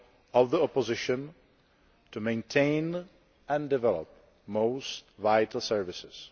of the opposition, to maintain and develop most vital services.